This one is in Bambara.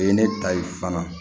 O ye ne ta ye fana